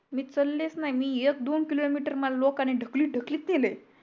मी चलेच नाय मी एक दोन kilometer मला लोकांनी ढकलीत ढकलीत नेलंय